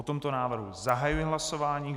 O tomto návrhu zahajuji hlasování.